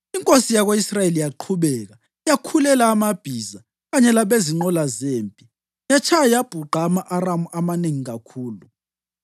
Inkosi yako-Israyeli yaqhubeka yakhulela abamabhiza kanye labezinqola zempi yatshaya yabhuqa ama-Aramu amanengi kakhulu.